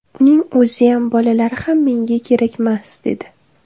Uning o‘ziyam, bolalari ham menga kerakmas’, dedi.